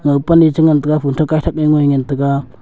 pan a che ngan tega phom tak gaithak a ngoi ngan tega.